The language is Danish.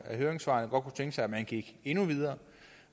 af høringssvarene tænke sig at man gik endnu videre